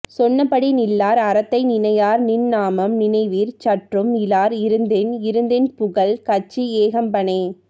சொன்னபடி நில்லார் அறத்தை நினையார் நின் நாமம் நினைவிற் சற்றும் இலார் இருந்தென் இறந்தென் புகல் கச்சி ஏகம்பனே